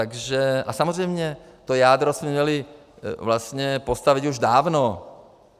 A samozřejmě, to jádro jsme měli vlastně postavit už dávno.